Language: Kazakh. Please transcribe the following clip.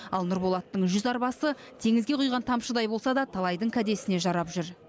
ал нұрболаттың жүз арбасы теңізге құйған тамшыдай болса да талайдың кәдесіне жарап жүр